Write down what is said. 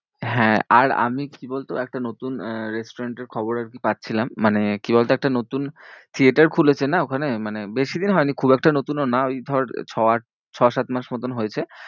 হ্যাঁ আর আমি কি বলতো, একটা নতুন আহ restaurant এর খবর আরকি পাচ্ছিলাম। মানে কি বলতো একটা নতুন theatre খুলেছে না ওখানে, মানে বেশি দিন হয়নি খুব একটা নতুনও না ওই ধর ছ আট ছ সাত মাস মতোন হয়েছে।